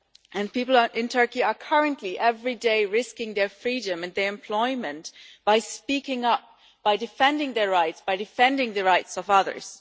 and people in Turkey are currently, every day, risking their freedom and their employment by speaking up, by defending their rights, by defending the rights of others.